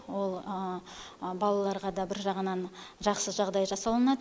ол балаларға да бір жағынан жақсы жағдай жасалынады